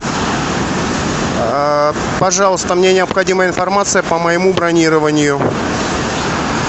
пожалуйста мне необходима информация по моему бронированию